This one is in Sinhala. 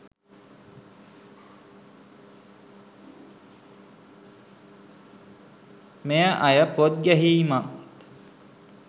මේ අය පොත් ගැහීමත්